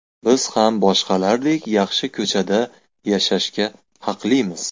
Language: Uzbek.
Biz ham boshqalardek, yaxshi ko‘chada yashashga haqlimiz.